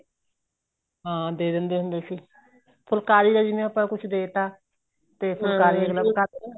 ਹਾਂ ਦੇ ਦਿੰਦੇ ਹੁੰਦੇ ਸੀ ਫੁਲਕਾਰੀ ਦਾ ਜਿਵੇਂ ਆਪਾਂ ਕੁੱਛ ਦੇ ਤਾਂ ਤੇ ਫੁਲਾਕਰੀ ਅਗਲਾ